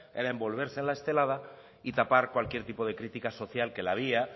era envolverse en la estelada y tapar cualquier tipo de crítica social que la había